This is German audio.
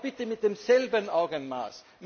Aber bitte mit demselben Augenmaß!